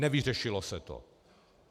Nevyřešilo se to.